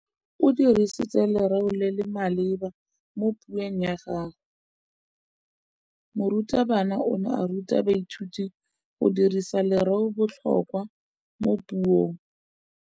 O dirisitse lerêo le le maleba mo puông ya gagwe. Morutabana o ne a ruta baithuti go dirisa lêrêôbotlhôkwa mo puong.